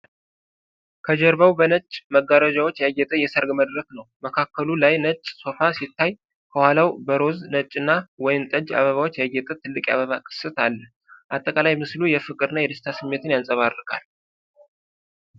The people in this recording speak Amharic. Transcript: ከጀርባው በነጭ መጋረጃዎች ያጌጠ የሠርግ መድረክ ነው። መካከሉ ላይ ነጭ ሶፋ ሲታይ ከኋላው በሮዝ፣ ነጭና ወይን ጠጅ አበባዎች ያጌጠ ትልቅ የአበባ ቅስት አለ። አጠቃላይ ምስሉ የፍቅር እና የደስታ ስሜትን ያንጸባርቃል።